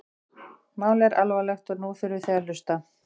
Málið er alvarlegt og nú þurfið þið að hlusta?